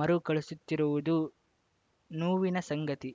ಮರುಕಳಿಸುತ್ತಿರುವುದು ನೋವಿನ ಸಂಗತಿ